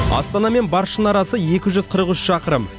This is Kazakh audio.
астана мен баршын арасы екі жүз қырық үш шақырым